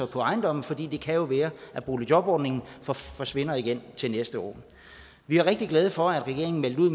ejendom fordi det jo kan være at boligjobordningen forsvinder igen til næste år vi er rigtig glade for at regeringen meldte ud